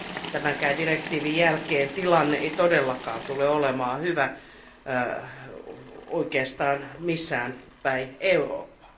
Tämänkään direktiivin jälkeen tilanne ei todellakaan tule olemaan hyvä oikeastaan missään päin Eurooppaa.